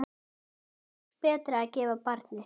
Þykir betra að gefa barnið.